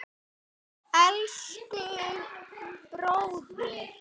Elsku, bróðir.